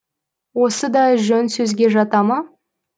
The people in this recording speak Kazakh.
осы да жөн сөзге жата ма